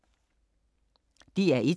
DR1